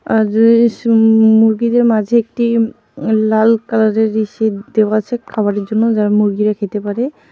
আর মুরগিদের মাঝে একটি লাল কালারের দেওয়া আছে খাবারের জন্য যার মুরগিরা খেতে পারে.